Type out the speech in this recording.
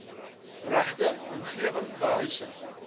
regte omgewing behuising